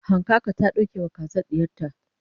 hankaka ta ɗauke wa kazar ɗiyarta